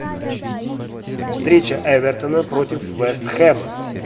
встреча эвертона против вест хэма